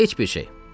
Heç bir şey.